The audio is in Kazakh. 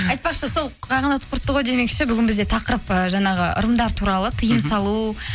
айтпақшы сол қағанат құртты ғой демекші бүгін бізде тақырып ы жаңағы ырымдар туралы тиым салу